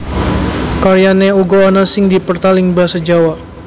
Karyané uga ana sing dipertal ing Basa Jawa